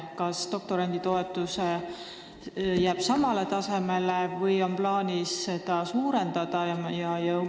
Kas doktoranditoetus jääb samale tasemele või on plaanis seda suurendada?